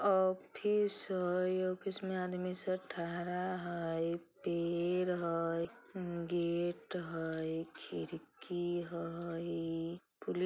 ऑफिस हाई ऑफिस में आदमी ठहरा हाई पेर हाई गेट हाई खिरकी हाई पुलि--